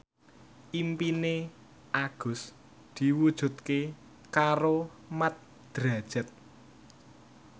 impine Agus diwujudke karo Mat Drajat